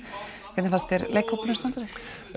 hvernig fannst þér leikhópurinn standa sig